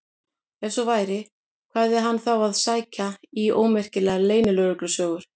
Ef svo væri, hvað hafði hann þá að sækja í ómerkilegar leynilögreglusögur?